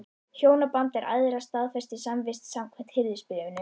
Hjónabandið er æðra staðfestri samvist, samkvæmt Hirðisbréfinu.